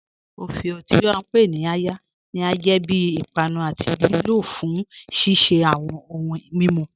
Ọfíọ, tí a ǹ pe ni "àya," ni a jẹ bí ìpànù àti lìlò fún ṣiṣẹ̀ awọn ọ̀hùǹ mímú.